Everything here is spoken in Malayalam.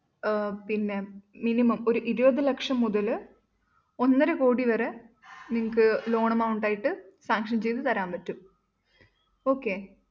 അഹ് പിന്നെ മിനിമം ഒരു ഇരുപത് ലക്ഷം മുതല്‍ ഒന്നരക്കോടി വരെ നിങ്ങൾക്ക് loan amount ആയിട്ട് sanction ചെയ്ത് തരാന്‍ പറ്റും okay